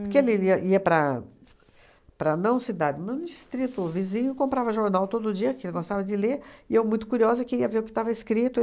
Porque ele iria ia para para a não cidade, no distrito vizinho, comprava jornal todo dia, que ele gostava de ler, e eu, muito curiosa, queria ver o que estava escrito.